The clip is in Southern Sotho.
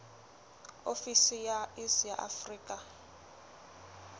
ofisi ya iss ya afrika